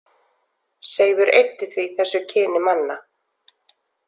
Seifur eyddi því þessu kyni manna.